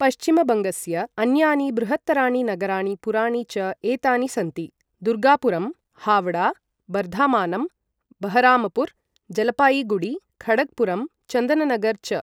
पश्चिमबङ्गस्य अन्यानि बृहत्तराणि नगराणि पुराणि च एतानि सन्ति दुर्गापुरम्, हावडा, बर्धामानम्, बहरामपुर, जलपायिगुडी, खडगपुरम्, चन्दननगर च।